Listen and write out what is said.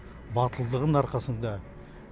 батылдығын арқасында